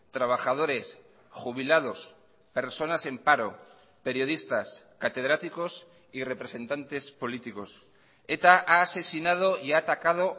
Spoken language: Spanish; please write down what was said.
trabajadores jubilados personas en paro periodistas catedráticos y representantes políticos eta ha asesinado y ha atacado